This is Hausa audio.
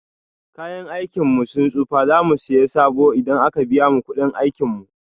Kayan aikin mu sun tsufa, za mu siya sabo idan a ka biya mu kuɗin aikin mu.